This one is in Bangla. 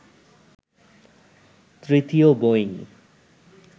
তৃতীয় বোয়িং